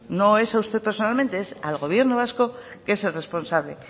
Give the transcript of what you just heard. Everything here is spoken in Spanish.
no es a usted personalmente es al gobierno vasco que es el responsable